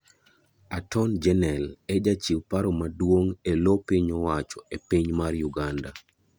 Aton Genel e jachiw paro maduong' e loo piny owacho e piny mar Uganda.